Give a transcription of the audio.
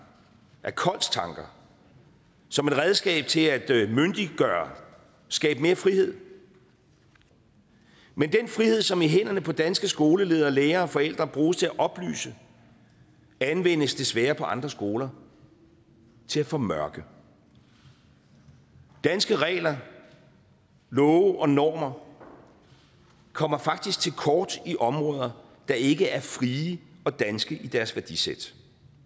af kolds tanker som et redskab til at myndiggøre skabe mere frihed men den frihed som i hænderne på danske skoleledere lærere og forældre bruges til at oplyse anvendes desværre på andre skoler til at formørke danske regler love og normer kommer faktisk til kort i områder der ikke er frie og danske i deres værdisæt